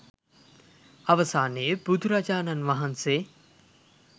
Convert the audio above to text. අවසානයේ බුදුරජාණන් වහන්සේ